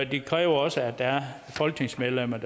det kræver også at der er folketingsmedlemmer